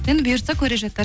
енді бұйыртса көре жатарсыздар